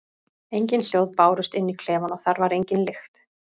Engin hljóð bárust inn í klefann og þar var engin lykt.